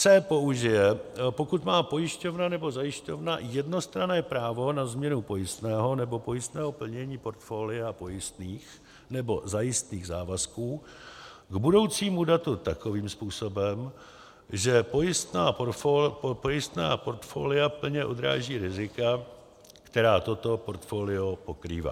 c) použije, pokud má pojišťovna nebo zajišťovna jednostranné právo na změnu pojistného nebo pojistného plnění portfolia pojistných nebo zajistných závazků k budoucímu datu takovým způsobem, že pojistné portfolia plně odráží rizika, která toto portfolio pokrývá.